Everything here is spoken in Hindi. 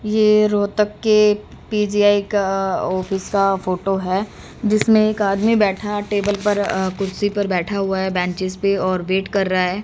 ये रोहतक के पी_जी_आई का ऑफिस का फोटो है जिसमें एक आदमी बैठा टेबल पर अ कुर्सी पर बैठा हुआ है बेंचेज पे और वेट कर रहा है।